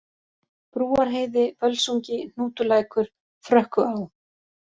Brúarheiði, Völsungi, Hnútulækur, Frökkuá